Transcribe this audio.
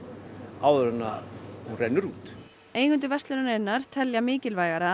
áður en hún rennur út eigendur verslunarinnar telja mikilvægara að